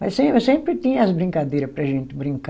Mas sem, sempre tinha as brincadeira para a gente brincar.